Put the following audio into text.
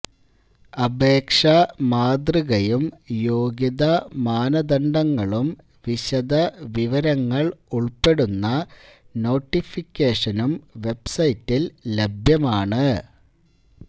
അപേക്ഷാ മാതൃകയും യോഗ്യതാ മാനദണ്ഡങ്ങളും വിശദ വിവരങ്ങള് ഉള്പ്പെടുന്ന നോട്ടിഫിക്കേഷനും വെബ്സൈറ്റില് ലഭ്യമാണ്